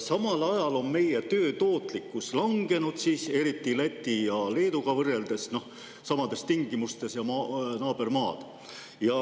Samal ajal on meie töö tootlikkus langenud, eriti kui võrrelda Läti ja Leeduga, kuigi meil on samad tingimused ja oleme naabermaad.